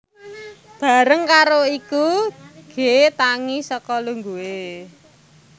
Bareng karo iku G tangi saka lungguhe